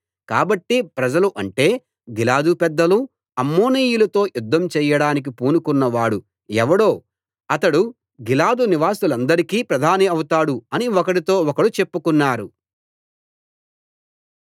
కాబట్టి ప్రజలు అంటే గిలాదు పెద్దలు అమ్మోనీయులతో యుద్ధం చెయ్యడానికి పూనుకొన్నవాడు ఎవడో అతడు గిలాదు నివాసులకందరికీ ప్రధాని అవుతాడు అని ఒకడితో ఒకడు చెప్పుకున్నారు